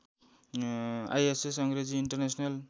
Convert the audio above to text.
ISS Angreji international